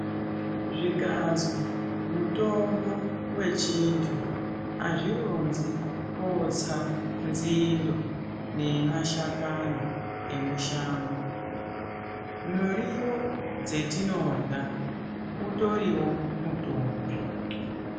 Zvikanzwi mutombo wechintu azvi ronzi kotsa nzindo ne mashakani e mushango muriwo dza tinorya utoriwo mutombo.